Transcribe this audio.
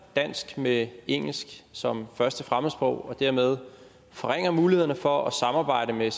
dansk med engelsk som første fremmedsprog og dermed forringer mulighederne for at samarbejde med